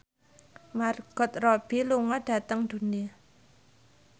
Margot Robbie lunga dhateng Dundee